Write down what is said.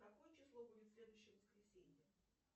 какое число будет в следующее воскресенье